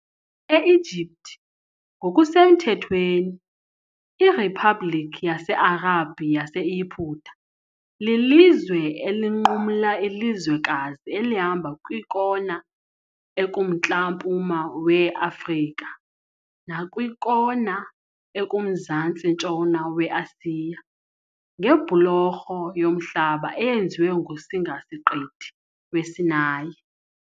Egypt, ngokusemthethweni iRiphabhlikhi yase-Arab yaseYiputa, lilizwe elinqumla ilizwekazi elihamba kwikona ekumntla-mpuma we-Afrika nakwikona ekumzantsi-ntshona we-Asiya ngebhulorho yomhlaba eyenziwe nguSingasiqithi weSinayi .